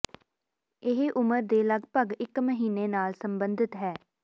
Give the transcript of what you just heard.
ਇਹ ਉਮਰ ਦੇ ਲਗਭਗ ਇਕ ਮਹੀਨੇ ਨਾਲ ਸੰਬੰਧਿਤ ਹੈ